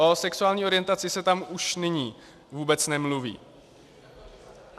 O sexuální orientaci se tam už nyní vůbec nemluví.